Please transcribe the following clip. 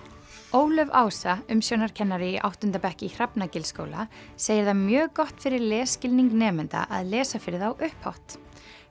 Ólöf Ása umsjónarkennari í áttunda bekk í Hrafnagilsskóla segir það mjög gott fyrir lesskilning nemenda að lesa fyrir þá upphátt